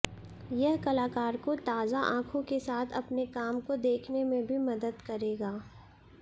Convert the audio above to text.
यह कलाकार को ताजा आंखों के साथ अपने काम को देखने में भी मदद करेगा